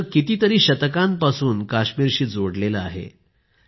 केशर कितीतरी शतकांपासून काश्मीरशी जोडलेले आहे